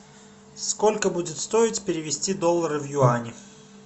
сколько будет стоить перевести доллары в юани